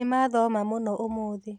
Nĩmathoma mũno ũmũthĩ